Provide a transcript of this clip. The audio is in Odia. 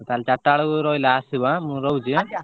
ତାହେଲେ ଚାଟା ବେଳକୁ ରହିଲା ଆସିବ ଆଁ ମୁଁ ରହୁଛି ଆଁ।